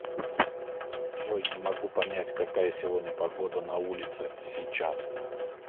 джой не могу понять какая сегодня погода на улице сейчас